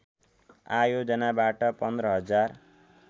आयोजनाबाट १५ हजार